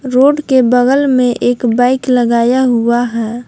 Road के बगल में एक बाइक लगाया हुआ है।